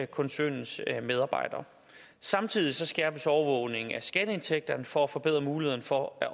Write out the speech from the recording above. koncernens medarbejdere samtidig skærpes overvågningen af skatteindtægterne for at forbedre muligheden for at